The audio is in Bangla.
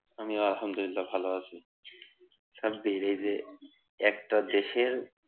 আমিও আলহামদুলিল্লাহ ভালো আছি। সাব্বির এই যে একটা দেশের